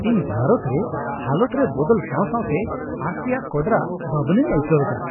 ᱤᱧ ᱵᱷᱟᱨᱚᱛ ᱨᱮ ᱦᱟᱞᱚᱛ ᱨᱮ ᱵᱚᱫᱚᱞ ᱥᱟᱶ ᱥᱟᱶᱛᱮ ᱟᱸᱥ ᱨᱮᱭᱟᱜ ᱠᱚᱰᱨᱟ ᱵᱷᱟᱵᱽᱱᱟᱧ ᱟᱹᱭᱠᱟᱹᱣ ᱮᱫᱟ ᱾